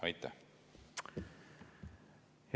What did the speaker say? Aitäh!